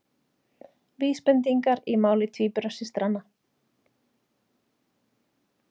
Vísbendingar í máli tvíburasystranna